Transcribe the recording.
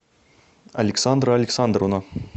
александра александровна